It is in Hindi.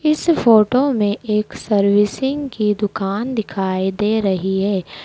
इस फोटो में एक सर्विसिंग की दुकान दिखाई दे रही है।